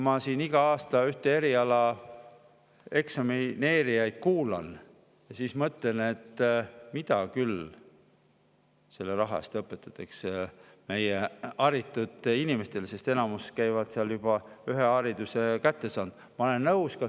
Ma kuulan iga aasta ühe eriala eksamineerijaid ja mõtlen, mida küll selle raha eest õpetatakse meie haritud inimestele, sest enamus, kes käivad seal, on juba ühe hariduse kätte saanud.